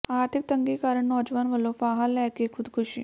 ਆਰਥਿਕ ਤੰਗੀ ਕਾਰਨ ਨੌਜਵਾਨ ਵਲੋਂ ਫ਼ਾਹਾ ਲੈ ਕੇ ਖੁਦਕੁਸ਼ੀ